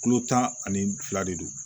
Kulo tan ani fila de don